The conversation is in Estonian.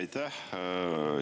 Aitäh!